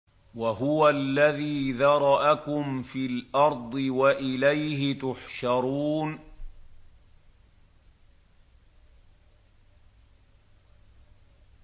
وَهُوَ الَّذِي ذَرَأَكُمْ فِي الْأَرْضِ وَإِلَيْهِ تُحْشَرُونَ